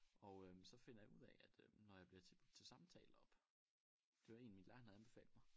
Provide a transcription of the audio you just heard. Og øh så finder jeg ud af at øh når jeg bliver tilbud til samtale deroppe det var egentlig min lærer han havde anbefalet mig